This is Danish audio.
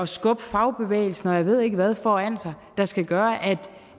skubbe fagbevægelsen og jeg ved ikke hvad foran sig der skal gøre